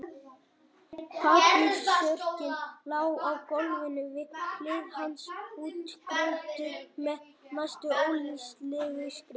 Pappírsörkin lá á gólfinu við hlið hans útkrotuð með næstum ólæsilegri skrift.